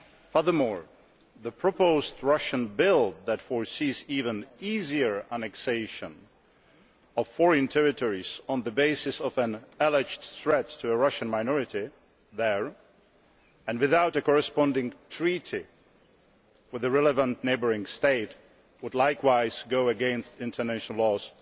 Furthermore, the proposed Russian bill that provides for even easier annexation of foreign territories on the basis of an alleged threat to a Russian minority there and without a corresponding Treaty with the relevant neighbouring state would likewise go against international laws